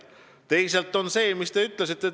Teisalt on see, mis te ütlesite, õige.